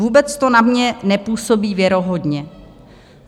Vůbec to na mě nepůsobí věrohodně.